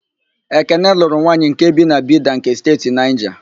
Ekene lụrụ nwanyị nke bi na Bida nke Steeti Naịja.